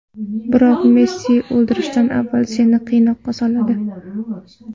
Biroq Messi o‘ldirishdan avval seni qiynoqqa soladi.